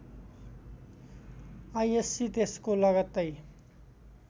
ISc त्यसको लगत्तै